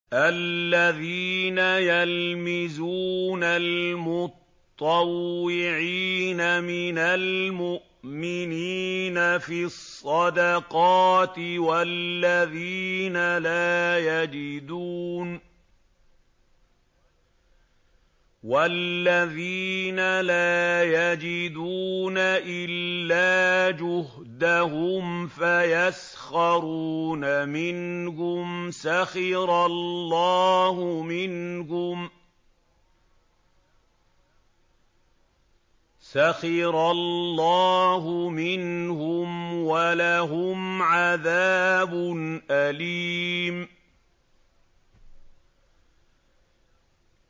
الَّذِينَ يَلْمِزُونَ الْمُطَّوِّعِينَ مِنَ الْمُؤْمِنِينَ فِي الصَّدَقَاتِ وَالَّذِينَ لَا يَجِدُونَ إِلَّا جُهْدَهُمْ فَيَسْخَرُونَ مِنْهُمْ ۙ سَخِرَ اللَّهُ مِنْهُمْ وَلَهُمْ عَذَابٌ أَلِيمٌ